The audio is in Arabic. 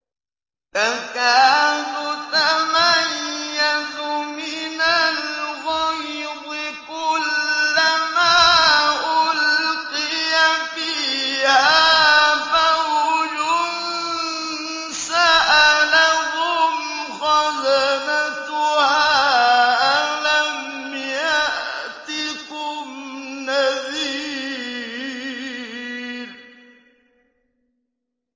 تَكَادُ تَمَيَّزُ مِنَ الْغَيْظِ ۖ كُلَّمَا أُلْقِيَ فِيهَا فَوْجٌ سَأَلَهُمْ خَزَنَتُهَا أَلَمْ يَأْتِكُمْ نَذِيرٌ